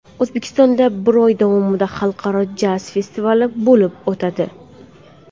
O‘zbekistonda bir oy davomida Xalqaro jaz festivali bo‘lib o‘tadi.